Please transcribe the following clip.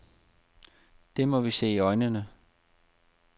Det må vi se i øjnene.